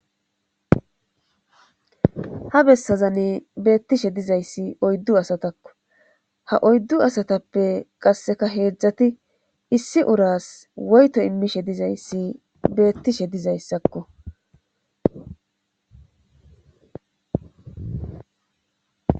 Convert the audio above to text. ha bessazani beettishe dizayssi oyddu asatakko ha oyddu asatappe qasseka heedzdzati issi uras woyto immishe dizayssi beettishe dizayssakko